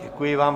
Děkuji vám.